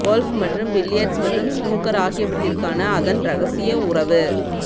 golf மற்றும் billiards மற்றும் snooker ஆகியவற்றிற்கான அதன் இரகசிய உறவு